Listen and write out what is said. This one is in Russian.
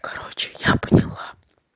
короче я поняла